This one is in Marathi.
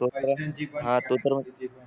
तो तर